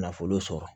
Nafolo sɔrɔ